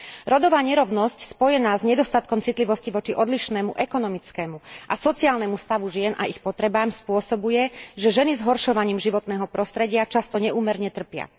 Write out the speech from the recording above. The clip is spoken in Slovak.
Rodová nerovnosť spojená s nedostatkom citlivosti voči odlišnému ekonomickému a sociálnemu stavu žien a ich potrebám spôsobuje, že ženy zhoršovaním životného prostredia často neúmerne trpia.